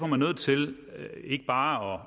man nødt til ikke bare